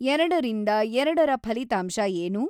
ಎರಡರಿಂದ ಎರಡರ ಫಲಿತಾಂಶ ಏನು